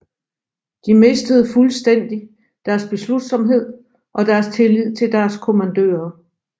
De mistede fuldstændig deres beslutsomhed og deres tillid til deres kommandører